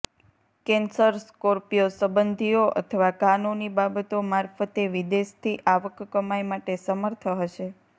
cancer Scorpio સંબંધીઓ અથવા કાનૂની બાબતો મારફતે વિદેશથી આવક કમાઇ માટે સમર્થ હશે